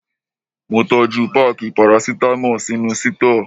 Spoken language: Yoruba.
Mo tọ́jú páákì parasítámọ̀ sínú sítọ́ọ̀.